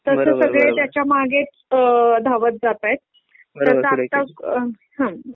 तसं सगळे त्याच्या मागेच अ धावत जातायत हुं